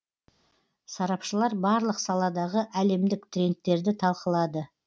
сарапшылар барлық саладағы әлемдік трендтерді талқылады